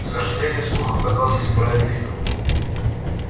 к сожалению слух оказался справедлив